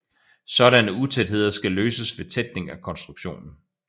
Sådanne utætheder skal løses ved tætning af konstruktionen